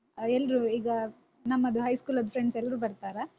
ಹ ಎಲ್ರೂ ಈಗ ನಮ್ಮದು high school ದ್ದು friends ಎಲ್ರೂ ಬರ್ತಾರಾ?